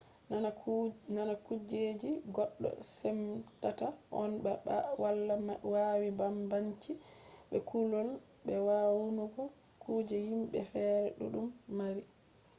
nana kuje je goddo semtata on ba:wala wani banbanci be kulol be wayanugo kuje himbe feere dudum mari